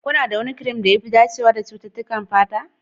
Kuna da wani kirim da ya fi dacewa da cututtukan fata?